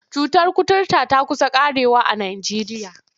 Cutar kuturta ta ƙusa ƙarewa a Najeriya.